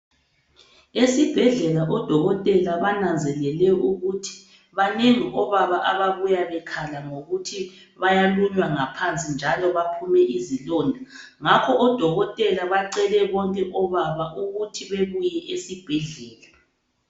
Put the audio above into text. Esibhedlela odokotela bananzelele ukuthi banengi obaba ababuya bekhala ngokuthi bayalunywa ngaphansi njalo baphume izilonda ngakho odokotela bacele bonke obaba ukuthi bebuye esibhedlela.